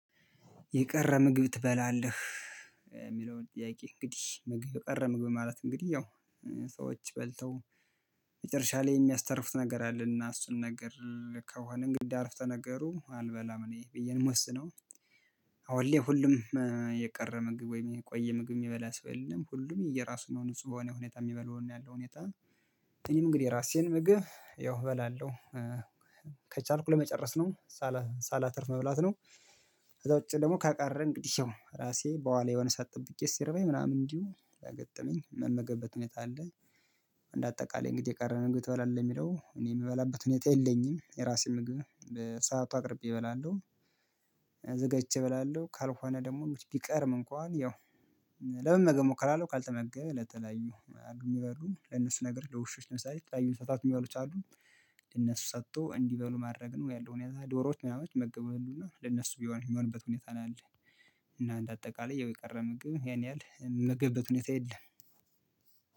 የቀረ ምግብ ትበላለህ? የሚለውን ጥያቄ እንግዲህ ምግብ የቀረ ምግብ ማለት እንግዲህ ያው ሰዎች በልተው መጨረሻ ላይ የሚያስተርፉት ነገር አለና እሱን ነገር ከሆነ እንግዲህ ከሆነ አረፍተ ነገሩ አልበላም እኔ ብዬ ነው የምወስነው። አሁን ላይ ሁሉም የቀረ ምግብ ወይም የቆየ ምግብ የሚበላ ሰው የለም ሁሉም የየራሱን ንጹህ በሆነ ሁኔታ የሚበላውን ያለው ሁኔታ። እኔም እንግዲህ የራሴን ምግብ ያው እበላለሁ። ከቻልኩ ለመጨረስ ነው ሳላተርፍ መብላት ነው። ከዛ ውጪ ደግሞ ካቀረን እንግዲህ ያው ራሴ በዋላ የሆነ ሰዓት ጠብቄ ሲርበኝ ምናምን እንዲሁ ከገጠመኝ ምመገበት ሁኔታ አለኝ። እንደ አጠቃላይ እንግዲህ የቀረን ምግብ ትበላለህ የሚለው እኔ የምበላበት ሁኔታ የለኝም የራሴ ምግብ በሰአቱ አቅርቤ እበላለሁ። ዘገቼ እበላለሁ ካልሆነ ደግሞ ቢቀርም እንኳን ያው ለመመገብ እሞክራለሁ ካልተመገበ ለተለያዩ አሉ የሚበሉ ለነሱ ነገር ለውሾች ለምሳሌ የተለያዩ እንስሳት መሆኑን ይችላሉ። ለነሱ ሰጥቶ እንዲበሉ ማድረግ ነው ያለው ሁኔታ ዶሮዎች ምናምን ይመገባሉ እና ለነሱ የሚሆንበት ሁኔታ ነው ያለን። እና እንድ አጠቃላይ የቀረ ምግብ ያን ያህል ምመገብበት ሁኔታ የለም።